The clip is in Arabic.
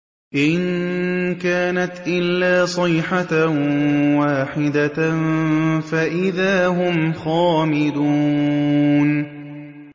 إِن كَانَتْ إِلَّا صَيْحَةً وَاحِدَةً فَإِذَا هُمْ خَامِدُونَ